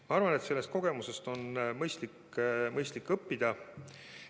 Ma arvan, et sellest kogemusest on mõistlik õppida.